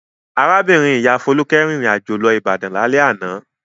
Arábìnrin-ìyá Folúkẹ́ rìnrìn-àjò lọ Ìbàdàn lálẹ́ àná.